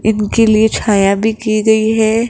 इनके लिए छाया भी की गई है।